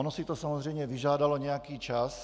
Ono si to samozřejmě vyžádalo nějaký čas.